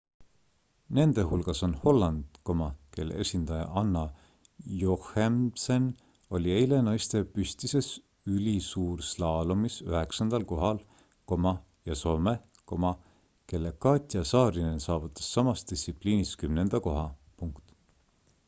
nende hulgas on holland kelle esindaja anna jochemsen oli eile naiste püstises ülisuurslaalomis üheksandal kohal ja soome kelle katja saarinen saavutas samas distsipliinis kümnenda koha